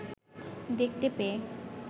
দেখতে পেয়ে